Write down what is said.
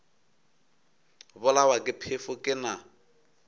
bolawa ke phefo ke na